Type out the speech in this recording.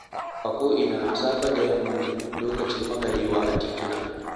A ko'ina safe da yamma ne lokacin maƙalewa a tituna